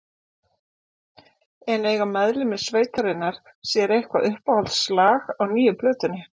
En eiga meðlimir sveitarinnar sér eitthvað uppáhaldslag á nýju plötunni?